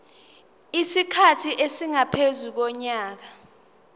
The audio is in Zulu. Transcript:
isikhathi esingaphezu konyaka